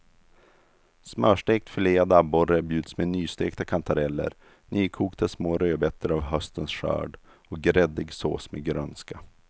Smörstekt filead abborre bjuds med nystekta kantareller, nykokta små rödbetor av höstens skörd och gräddig sås med grönska.